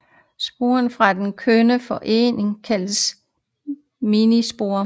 Sporerne fra den kønnede formering kaldes meiosporer